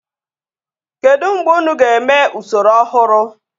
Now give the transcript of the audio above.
Kedu mgbe unu ga-eme usoro ọhụrụ?